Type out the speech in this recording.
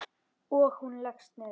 Og hún leggst niður.